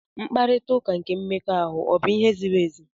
Mkparita ụka nke mmekọahụ ọ bụ ihe ziri ezi?